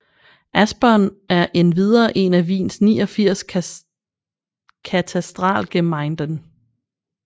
Aspern er endvidere én af Wiens 89 Katastralgemeinden